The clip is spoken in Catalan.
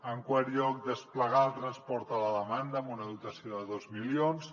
en quart lloc desplegar el transport a demanda amb una dotació de dos milions